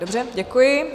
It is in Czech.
Dobře, děkuji.